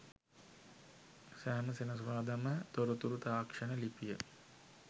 සෑම සෙනසුරාදාම තොරතුරු තාක්ෂණ ලිපිය